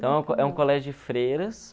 Então, é um colégio de freiras.